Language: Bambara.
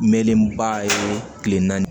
Mɛlenba ye kile naani